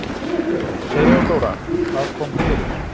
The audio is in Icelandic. THEODÓRA: Hvað kom fyrir?